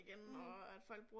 Mh